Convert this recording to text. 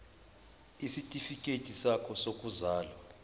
isitifikedi sakho sokuzalwa